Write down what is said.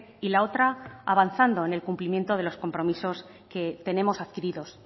y la otra avanzando en el cumplimiento de los compromisos que tenemos adquiridos